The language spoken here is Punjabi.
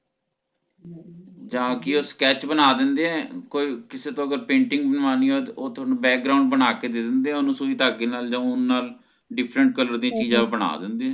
ਜਾ ਕਿ ਉਹ Sketch ਬਣਾ ਦਿੰਦੇ ਕੋਈ ਕਿਸੇ ਤੋਂ ਅਗਰ Painting ਬਨਵਾਨੀ ਹੋਵੇ ਤਾ ਉਹ ਤੁਹਾਨੂੰ Background ਬਣਾ ਕੇ ਦੇ ਓਹਨੂੰ ਸੂਈ ਦਾਗੇ ਜਾ ਉਨ ਨਾਲ Different color ਦੀ ਚੀਜ਼ਾਂ ਬਣਾ ਦਿੰਦੇ